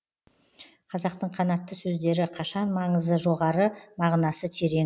қазақтың қанатты сөздері қашан маңызы жоғары мағынасы терең